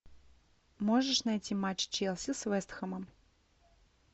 можешь найти матч челси с вест хэмом